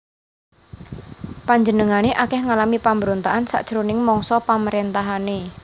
Panjenengané akèh ngalami pambrontakan sajroning mangsa pamaréntahané